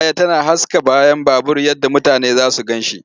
Fitilar baya tana haska bayan babur yadda mutane za su gan shi.